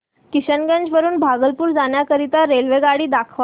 किशनगंज वरून भागलपुर जाण्या करीता मला रेल्वेगाडी दाखवा